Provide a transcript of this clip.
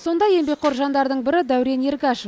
сондай еңбекқор жандардың бірі дәурен ергашев